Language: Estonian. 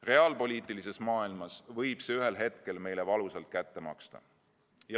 Reaalpoliitilises maailmas võib see ühel hetkel meile valusalt kätte maksta.